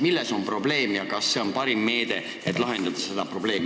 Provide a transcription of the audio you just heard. Milles on probleem ja kas see on parim meede, et seda lahendada?